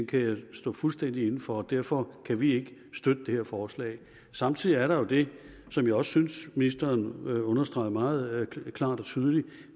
kan jeg stå fuldstændig inde for og derfor kan vi ikke støtte det her forslag samtidig er der jo det som jeg også synes ministeren understregede meget klart og tydeligt